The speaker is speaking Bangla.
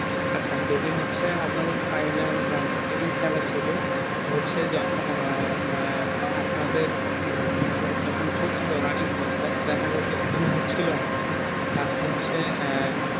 আচ্ছা যে দিন হচ্ছে আপনাদের final round খেলা ছিলো হচ্ছে যখন আহ মে আপনাদের খেলা যখন চলছিলো running দেখা যাচ্ছিলো গোল হচ্ছিলো না তার পর হচ্ছে আহ